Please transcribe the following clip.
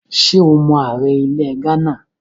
Ṣé o mọ ààrẹ ilẹ̀ Ghánà?